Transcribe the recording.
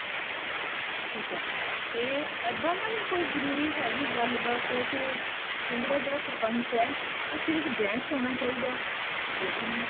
ਠੀਕ ਏ ਤੇ ਇੱਦਾਂਤਾਂ ਨਹੀਂ ਕੋਈ ਜਰੂਰੀ ਹੈਗੀ ਗੱਲ ਬਾਤ ਕੇ ਪਿੰਡ ਦਾ ਜਿਹੜਾ ਸਰਪੰਚ ਹੈ ਹੋ ਸਿਰਫ਼ gents ਹੋਣਾ ਚਾਹੀਦਾ ਹੈ lady ਨਹੀਂ